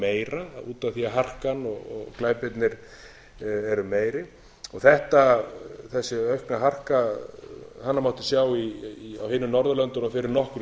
af því að harkan og glæpirnir eru meiri þessi aukna harka hana mátti sjá á hinum norðurlöndunum fyrir nokkru